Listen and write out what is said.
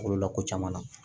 Kolo la ko caman na